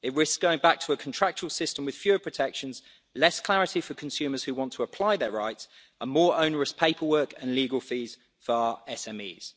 It risks going back to a contractual system with fewer protections, less clarity for consumers who want to apply their rights and more onerous paperwork and legal fees for our SMEs.